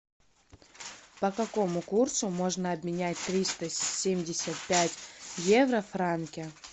по какому курсу можно обменять триста семьдесят пять евро в франки